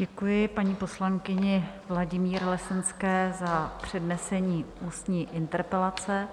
Děkuji paní poslankyni Vladimíře Lesenské za přednesení ústní interpelace